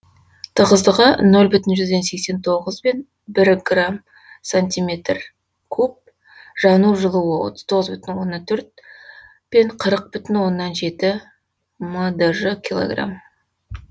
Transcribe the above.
тығыздығы ноль бүтін жүзден сексен тоғызбен бір грамм сантиметр куб жану жылуы отыз тоғыз бүтін оннан төрт қырық бүтін оннан жеті мдж килограмм